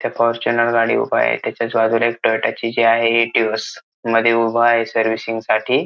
त्या फॉर्च्यूनर गाडी उभा आहे त्याच्याच बाजूला एक टोयटा ची जी आहे इटिऑस मध्ये उभा आहे सर्विसिंग साठी.